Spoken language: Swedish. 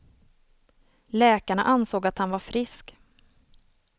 Läkarna ansåg att han var frisk.